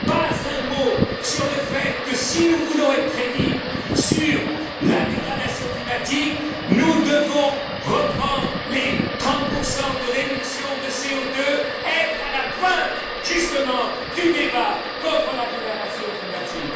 Pas un mot sur le fait que si nous voulons être crédibles sur la dégradation climatique, nous devons reprendre les 30 de réduction de CO2, être à la pointe, justement, du débat contre la dégradation climatique.